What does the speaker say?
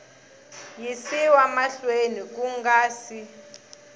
yisiwa mahlweni ku nga si